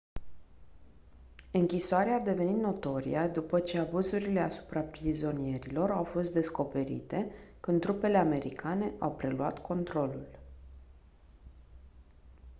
închisoarea a devenit notorie după ce abuzurile asupra prizonierilor au fost descoperite când trupele americane au preluat controlul